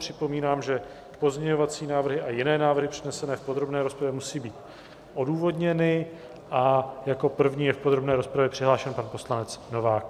Připomínám, že pozměňovací návrhy a jiné návrhy přednesené v podrobné rozpravě musí být odůvodněny a jako první je v podrobné rozpravě přihlášen pan poslanec Novák.